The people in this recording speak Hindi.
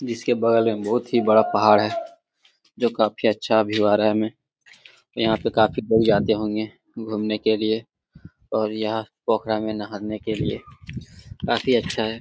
जिसके बगल में बहुत ही बड़ा पहाड़ है जो काफी अच्छा व्यू आ रहा है हमें और यहाँ पे काफी लोग जाते होंगे घुमने के लिए और यहाँ पोखरा में नहाने के लिए काफी अच्छा है।